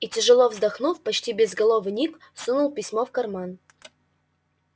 и тяжело вздохнув почти безголовый ник сунул письмо в карман